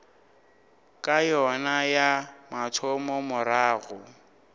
ya yona ya mathomo morago